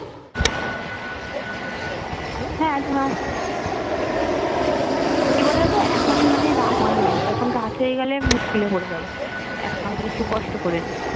উম হ্যাঁ তুমি আমার সাথে কথা বলতে বলতে login টা করে নাও কি বলো তো এখন মানে রাত হয়নি তখনরাত হয়ে গেলে মুস্কিলে পরে যাবো এখন হম একটু কষ্ট করে নি